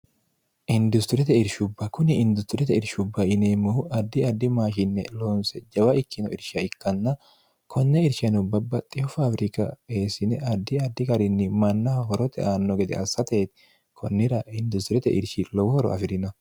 industirete irshubba kuni industirete irshubba ineemmohu addi addi maashinne loonse jawa ikkino irsha ikkanna konne irshiano babbaxxiho faawirika eessine addi addi garinni mannaha horote aanno gede assateeti kunnira industirete irshi lowohoro afi'rino